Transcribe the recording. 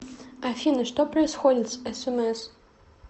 афина что происходит с смс